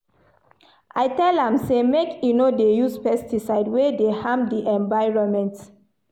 I tell am sey make e no dey use pesticides wey dey harm di environment.